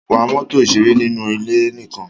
Wa mọ́tò ìṣeré nínú ilé nìkan!